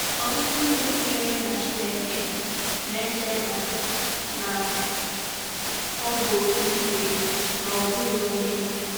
Ọtụtụ ndị kwenyere na Chineke na-eche na na ọ bụ oke ike, na ọ bụghị onye.